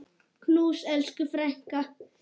Knús, elsku frænka.